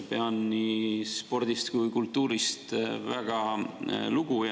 Pean nii spordist kui ka kultuurist väga lugu.